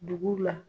Dugu la